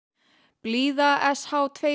blíða s h tvö